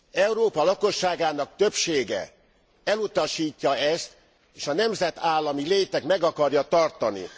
Európa lakosságának többsége elutasítja ezt, és a nemzetállami létet meg akarja tartani.